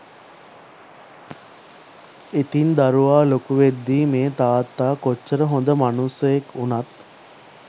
ඉතිං දරුව ලොකු වෙද්දිත් මේ තාත්තා කොච්චර හොඳ මනුස්සයෙක් උනත්